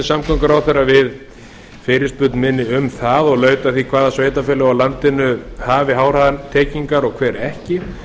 samgönguráðherra við fyrirspurn minni um það og laut að því hvaða sveitarfélög á landinu hafi háhraðatengingar og hver ekki